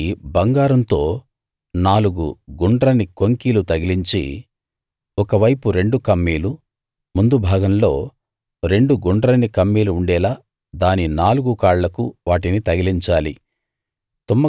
దానికి బంగారంతో నాలుగు గుండ్రని కొంకీలు తగిలించి ఒక వైపు రెండు కమ్మీలు ముందు భాగంలో రెండు గుండ్రని కమ్మీలు ఉండేలా దాని నాలుగు కాళ్లకు వాటిని తగిలించాలి